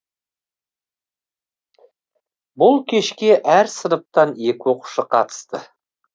бұл кешке әр сыныптан екі оқушы қатысты